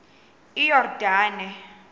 iyordane